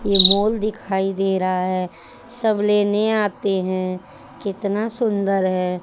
ये मोल दिखाई दे रहा है सब लेने आते हैं कितना सुंदर है।